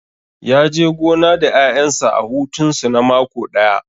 Ya je gona da ƴaƴansa a hutun su na mako ɗaya